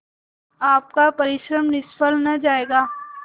आपका परिश्रम निष्फल न जायगा